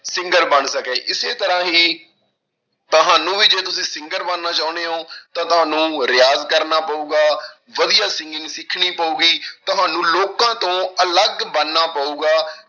Singer ਬਣ ਸਕੇ, ਇਸੇ ਤਰ੍ਹਾਂ ਹੀ ਤੁਹਾਨੂੰ ਵੀ ਜੇ ਤੁਸੀਂ singer ਬਣਨਾ ਚਾਹੁੰਦੇ ਹੋ ਤਾਂ ਤੁਹਾਨੂੰ ਰਿਆਜ਼ ਕਰਨਾ ਪਊਗਾ, ਵਧੀਆ singing ਸਿਖਣੀ ਪਊਗੀ, ਤੁਹਾਨੂੰ ਲੋਕਾਂ ਤੋਂ ਅਲੱਗ ਬਣਨਾ ਪਊਗਾ,